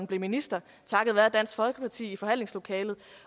blev minister takket være dansk folkeparti i forhandlingslokalet